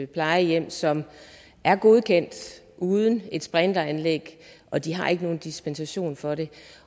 plejehjem som er godkendt uden et sprinkleranlæg og de har ikke nogen dispensation for det